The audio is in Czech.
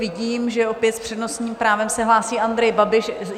Vidím, že opět s přednostním právem se hlásí Andrej Babiš.